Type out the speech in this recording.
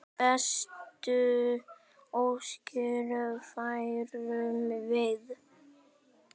Bestu óskir færum við.